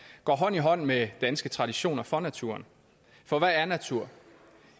går hånd i hånd med danske traditioner for naturen for hvad er natur